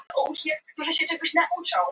Við viljum sanna að við getum spilað vel.